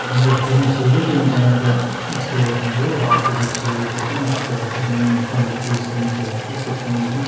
олан бері көп нәрсе өзгерді енді жаңағы да еске алып отырмыз ғой алты жеті жыл өтіп кеткен нақты қашан соңғы рет кездескенімізді еске түсіре алмай отырмыз